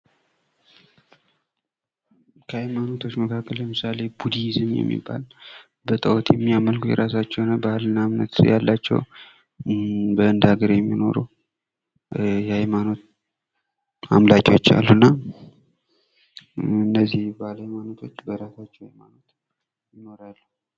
ከሃይማኖቶች መካከል ለምሳሌ ቡዲዝም የሚባል በጣኦት የሚያመልክ የራሳቸው የሆነ ባሕልና እምነት ያላቸው በህንድ አገር የሚኖረው የሃይማኖት አምላኪዎች አሉና እነዚህ ሀይማኖቶች በራሳቸው።